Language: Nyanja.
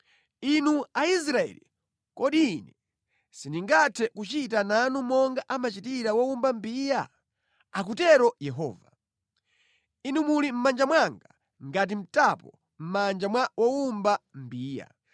“Inu Aisraeli, kodi Ine sindingathe kuchita nanu monga amachitira wowumba mbiya?” akutero Yehova. “Inu muli mʼmanja mwanga ngati mtapo mʼmanja mwa wowumba mbiya.